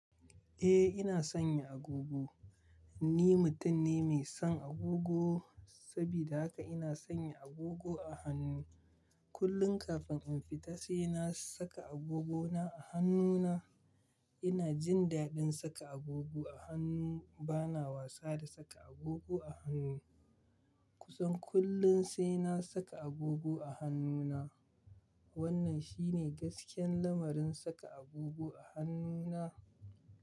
Eh ina sanyan agogo. Ni mutum ne mai son agogo saboda haka ina sanya agogo a hannu. Kullum kafin in fita sai na saka agogona a hannuna. Ina jin daɗin saka agogo a hannu. Bana wasa da saka agogo a hannu. Kusan kullum sai na saka agogo a hannuna. Wannan shi ne gaskiyan lamarin saka agogo a hannuna.